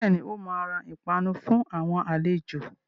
Bẹ́ẹ̀ni, ó máa ra ìpanu fún àwọn àlejò